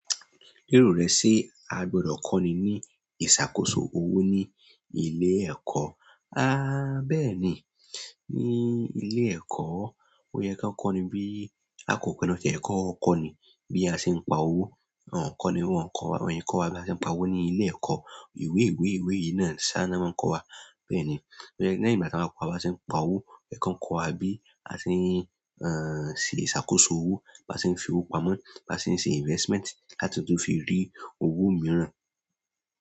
Lérò rẹ ṣe a gbọdọ kọ́ni ní ìṣàkóso owó ní ilé ẹ̀kọ́? À bẹ́ẹ̀ni, ní ilé ẹ̀kọ́ ó yẹ ká kọ́ni bí a kò pọnátọ́ ẹ̀kọ́ kọ́ni bí a ṣe ń pa owó, à kọ́ni wọn kọ́ wa bí a ṣe ń pa owó ní ilé ẹ̀kọ́. Ìwé íwé íwé yìí náà ni sá ná máa ń kọ́ wa. Bẹ́ẹ̀ni, lẹ́yìn ìgbà tí wọ́n bá kọ́ wa bí a ṣe ń pa owó ó yẹ ká kọ́ wa bí a ṣe ń, ẹ́ n, ṣe ìṣàkóso owó, bá ṣe ń fi owó pamọ́, bá ṣe ń ṣe investment láti tún fi rí owó mìíràn.